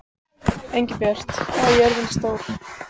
Engilbjört, hvað er jörðin stór?